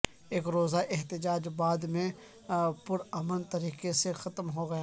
ایک روزہ احتجاج بعد میں پرامن طریقے سے ختم ہوگیا